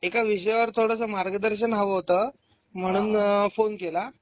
एक विषयावर थोडासा मार्गदर्शन हव होत. म्हणून अ फोन केला.